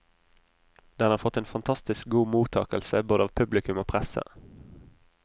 Den har fått en fantastisk god mottakelse både av publikum og presse.